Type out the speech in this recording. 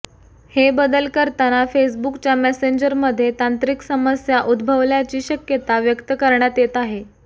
हे बदल करताना फेसबुकच्या मेसेंजरमध्ये तांत्रिक समस्या उद्भवल्याची शक्यता व्यक्त करण्यात येत आहे